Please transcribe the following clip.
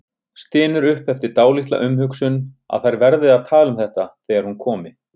Stynur upp eftir dálitla umhugsun að þær verði að tala um þetta þegar hún komi.